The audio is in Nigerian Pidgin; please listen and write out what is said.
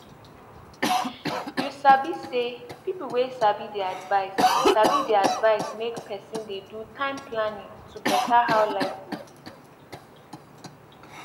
you sabi say people wey sabi dey advise sabi dey advise make person dey do time planning to better how life go be